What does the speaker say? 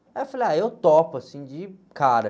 Aí eu falei, ah, eu topo, assim, de cara.